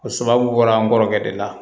O sababu bɔra n kɔrɔkɛ de la